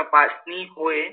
तपासणी होय.